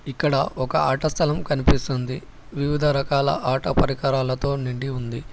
ఇక్కడ ఒక ఆటస్థలం కనిపిస్తోంది వివిధ రకాల ఆటో పరికరాలతో నిండి ఉంది.